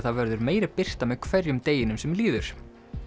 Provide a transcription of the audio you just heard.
það verður meiri birta með hverjum deginum sem líður